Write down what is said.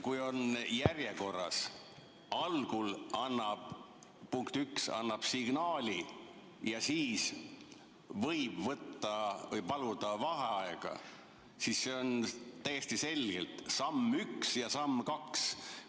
Kui on järjekord, et algul annab, punkt 1, signaali ja siis võib võtta või paluda vaheaega, siis see on täiesti selgelt samm 1 ja samm 2.